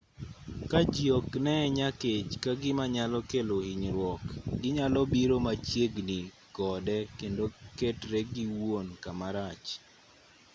ka ji ok nee nyakech ka gima nyalo kelo hinyruok ginyalo biro machiegni kode kendo ketre giwuon kamarach